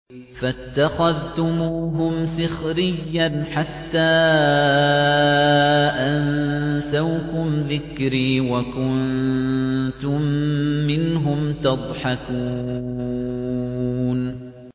فَاتَّخَذْتُمُوهُمْ سِخْرِيًّا حَتَّىٰ أَنسَوْكُمْ ذِكْرِي وَكُنتُم مِّنْهُمْ تَضْحَكُونَ